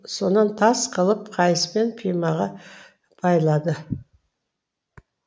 сонан тас қылып қайыспен пимаға байлады